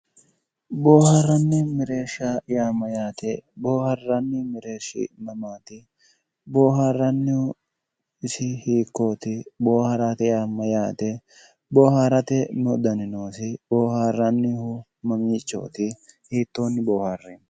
Boohaarranni mereersha yaa mayyaate? booharranni mereershi mamaati? booharrannihu isi hiikkoti? boohaarate yaa mayyaate? booharrate me"udani noosi? Boohaarrannihu mamiichooti? hittonni booharray?